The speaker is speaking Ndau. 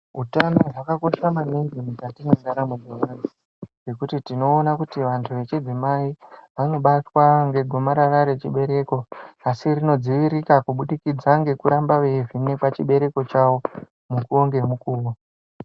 Utano hwakakosha maningi mukati mwendaramo yevanthu, ngekuti tinoona kuti vantu vechidzimai, vanobatwa ngegomarara rechibereko ,asi rinodziirika kubudikidza ngekuvhenekwa chibereko chavo, mukuwo ngemukuwo.